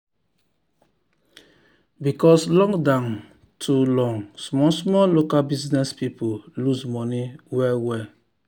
because lockdown too long small small local business people lose money well well.